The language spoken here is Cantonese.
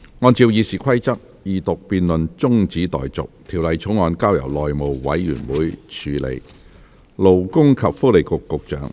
按照《議事規則》，二讀辯論中止待續，《條例草案》交由內務委員會處理。